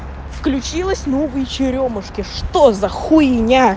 включилась новые черёмушки что за хуйня